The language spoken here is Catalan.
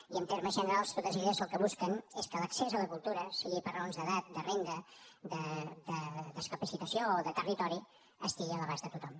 i en termes generals totes elles el que busquen és que l’accés a la cultura sigui per raons d’edat de renda de discapacitat o de territori estigui a l’abast de tothom